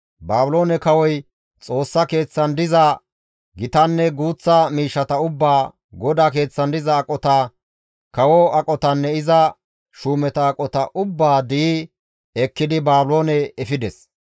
Baabiloone kawoy Xoossa keeththan diza gitanne guuththa miishshata ubbaa, GODAA keeththan diza aqota, kawo aqotanne iza shuumeta aqota ubbaa di7i ekkidi Baabiloone efides.